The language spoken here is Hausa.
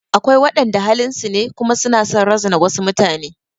Akwai waɗanda halin su ne kuma su na son razana wasu mutane.